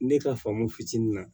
Ne ka faamu fitinin na